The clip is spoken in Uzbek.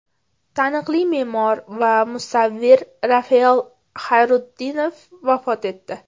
Taniqli me’mor va musavvir Rafael Xayrutdinov vafot etdi.